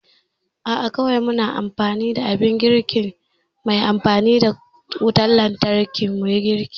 A'a kawai muna amfani da abin girki mai amfani da wutan lantarki muyi girki